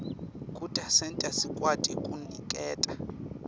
kutasenta sikwati kuniketa